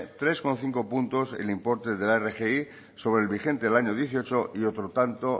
tres coma cinco puntos el importe de la rgi sobre el vigente del año dos mil dieciocho y otro tanto